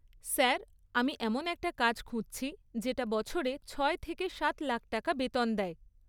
Sir আমি এমন একটা কাজ খুঁজছি যেটা বছরে ছয় থেকে সাত লাখ টাকা বেতন দেয়।